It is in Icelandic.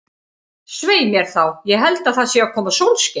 Svei mér þá, ég held að það sé að koma sólskin.